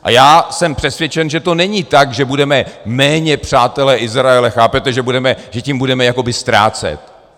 A já jsem přesvědčen, že to není tak, že budeme méně přátelé Izraele, chápete, že tím budeme jakoby ztrácet.